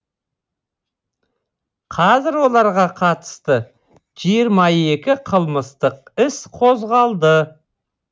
қазір оларға қатысты жиырма екі қылмыстық іс қозғалды